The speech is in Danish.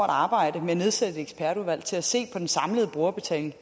arbejde med at nedsætte et ekspertudvalg til at se på den samlede brugerbetaling